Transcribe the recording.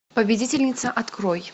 победительница открой